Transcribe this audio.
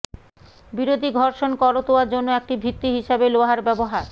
বিরোধী ঘর্ষণ করতোয়া জন্য একটি ভিত্তি হিসাবে লোহার ব্যবহার